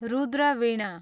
Rudra Veena